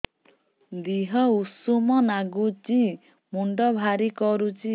ଦିହ ଉଷୁମ ନାଗୁଚି ମୁଣ୍ଡ ଭାରି କରୁଚି